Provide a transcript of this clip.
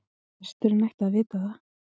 Presturinn ætti að vita það.